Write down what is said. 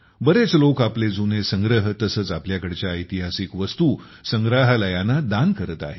बरेच लोक आपले जुने संग्रह तसेच आपल्याकडच्या ऐतिहासिक वस्तू संग्रहालयांना दान करत आहेत